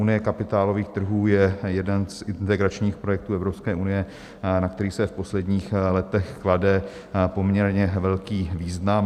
Unie kapitálových trhů je jeden z integračních projektů Evropské unie, na který se v posledních letech klade poměrně velký význam .